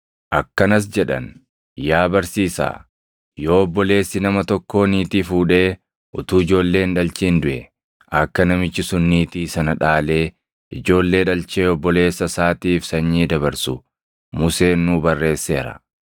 akkanas jedhan; “Yaa Barsiisaa yoo obboleessi nama tokkoo niitii fuudhee utuu ijoollee hin dhalchin duʼe, akka namichi sun niitii sana dhaalee ijoollee dhalchee obboleessa isaatiif sanyii dabarsu Museen nuu barreesseera.